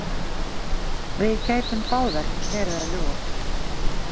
Við gætum báðar verið að ljúga.